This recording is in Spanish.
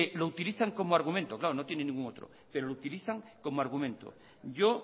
lo utilizan como argumento claro no tienen ningún otro pero lo utilizan como argumento yo